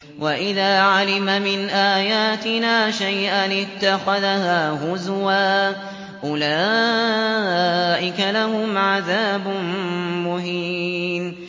وَإِذَا عَلِمَ مِنْ آيَاتِنَا شَيْئًا اتَّخَذَهَا هُزُوًا ۚ أُولَٰئِكَ لَهُمْ عَذَابٌ مُّهِينٌ